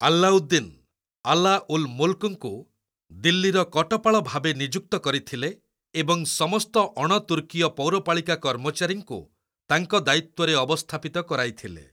ଆଲ୍ଲାଉଦ୍ଦିନ୍‌, ଆଲା ଉଲ୍ ମୁଲ୍କ୍‌ଙ୍କୁ ଦିଲ୍ଲୀର କଟପାଳ ଭାବେ ନିଯୁକ୍ତ କରିଥିଲେ ଏବଂ ସମସ୍ତ ଅଣତୁର୍କୀୟ ପୌରପାଳିକା କର୍ମଚାରୀଙ୍କୁ ତାଙ୍କ ଦାୟିତ୍ୱରେ ଅବସ୍ଥାପିତ କରାଇଥିଲେ।